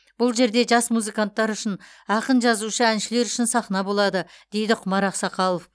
бұл жерде жас музыканттар үшін ақын жазушы әншілер үшін сахна болады дейді құмар ақсақалов